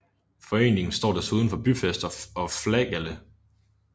Foreningen står desuden for byfest og flagalle